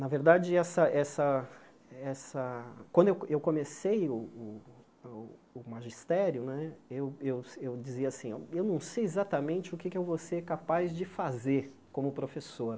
Na verdade, essa essa essa quando eu eu comecei o o o magistério né, eu eu eu dizia assim, eu não sei exatamente o que eu vou ser capaz de fazer como professor.